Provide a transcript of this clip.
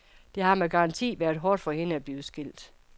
Det har med garanti været hårdt for hende at blive skilt.